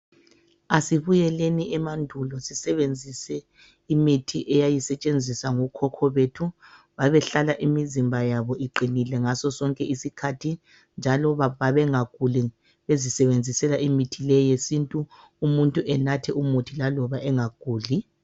Asibuyeleni emandulo sisebenzise imithi eyayisetshenziswa ngokhokho bethu. Babehlala imizimba yabo iqinile ngasosonke isikhathi njalo babengaguli bezisebenzisela imithi le yesintu umuntu enathe umuthi laloba engaguli.